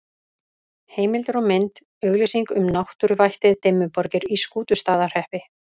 Heimildir og mynd: Auglýsing um náttúruvættið Dimmuborgir í Skútustaðahreppi.